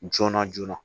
Joona joonana